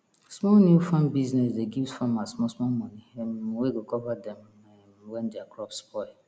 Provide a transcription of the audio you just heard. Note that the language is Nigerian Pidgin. some new farm business dey give farmers small small money um wey go cover dem um when their crops spoil